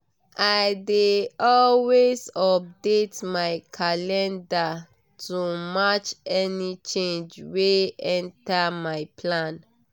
i dey always update my calendar to match any change wey enter my plan.